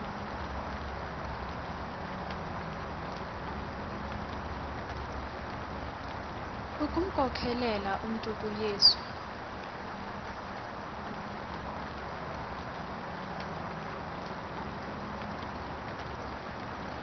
ukumkhokelela umntu kuyesu